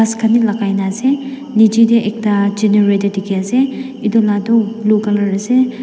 as khan bi lakai na ase nichae tae ekta generator dikhi ase edu la toh blue colour ase.